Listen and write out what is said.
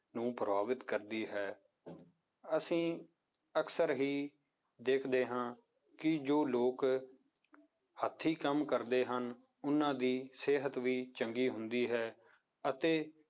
ਨੂੰ ਪ੍ਰਭਾਵਿਤ ਕਰਦੀ ਹੈ ਅਸੀਂ ਅਕਸਰ ਹੀ ਦੇਖਦੇ ਹਾਂ ਕਿ ਜੋ ਲੋਕ ਹੱਥੀ ਕੰਮ ਕਰਦੇ ਹਨ, ਉਹਨਾਂ ਦੀ ਸਿਹਤ ਵੀ ਚੰਗੀ ਹੁੰਦੀ ਹੈ ਅਤੇ